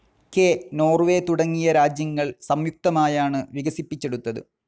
K, Norway തുടങ്ങിയ രാജ്യങ്ങൾ സമ്യുക്തമായാണ്‌ വികസിപ്പിച്ചെടുത്തത്.